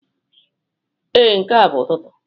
Ee, nke a bụ ụtụtụ.